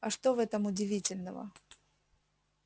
а что в этом удивительного